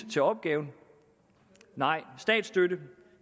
til opgaven nej statsstøtte